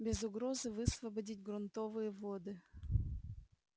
без угрозы высвободить грунтовые воды